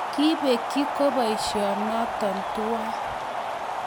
kibekyi koboisio nototuwai